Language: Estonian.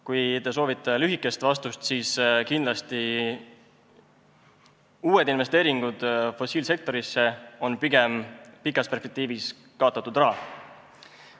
Kui te soovite lühikest vastust, siis ütlen, et kindlasti on uued investeeringud fossiilkütuste sektorisse pikas perspektiivis pigem kaotatud raha.